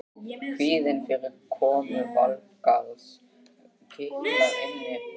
Kvíðinn fyrir komu Valgarðs kitlar innyflin.